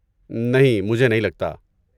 نہیں، مجھے نہیں لگتا۔